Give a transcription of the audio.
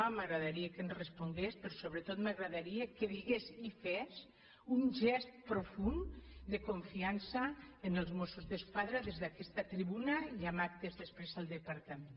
m’agra·daria que ens respongués però sobretot m’agradaria que digués i fes un gest profund de confiança en els mossos d’esquadra des d’aquesta tribuna i en actes des·prés al departament